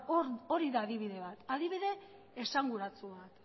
hori da adibidea adibide esanguratsua